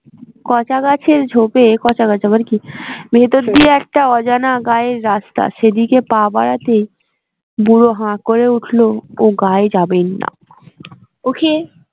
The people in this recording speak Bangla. কচা গাছের ঝোপে, কচা গাছ আবার কি। ভেতর দিয়ে একটা অজানা গাঁয়ের রাস্তা সেদিকে পা বাড়াতেই বুড়ো হ্যাঁ করে উঠলো ও গাঁয়ে যাবেন না okay